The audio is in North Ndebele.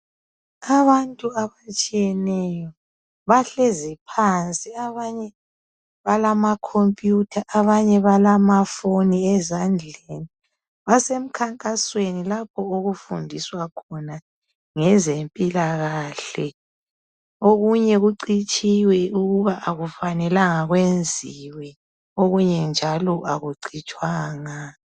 Abantu abatshiyeneyo bahlezi phansi abanye balamacomputa abanye balamafoni ezandleni ,basemkhankasweni lapho okufundiswa khona ngezempilakahle, okunye kucitshiwe ukubana akufanelanga kwenziwe okunye akucitshwanga.